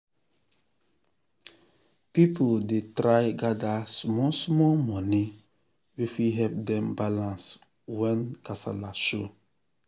people dey try gather small small money wey fit help dem balance when when kasala show.